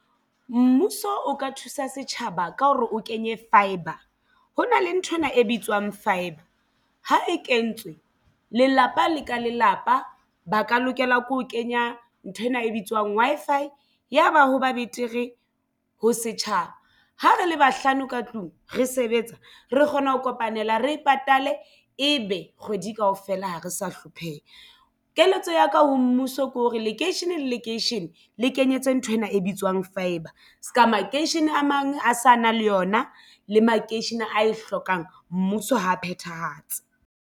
Mmuso o ka thusa setjhaba ka hore o kenye fibre. Ho na le nthwena e bitswang fibre ha e kentswe lelapa le ka lelapa ba ka lokela ke ho kenya nthwena e bitswang Wi-Fi ya ba ho ba betere ho setjhaba. Ha re le bahlano ka tlung re sebetsa re kgone ho kopanela re e patale Ebe kgwedi kaofela ha re sa hlompheha. Keletso ya ka ho mmuso ke hore lekeishene le lekeishene le kenyetswe nthwena e bitswang fibre se ka makeishene a mang a sa na le yona le makeishene a e hlokang mmuso ha phethahatse.